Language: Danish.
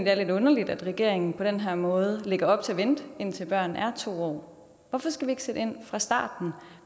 er lidt underligt at regeringen på den her måde lægger op til at vente indtil børn er to år hvorfor skal vi ikke sætte ind fra starten